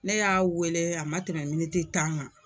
Ne y'a wele a ma tɛmɛ miniti tan kan.